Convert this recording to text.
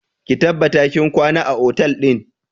Ki tabbata kin kwana a otel ɗin!